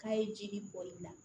K'a ye jeli bɔli la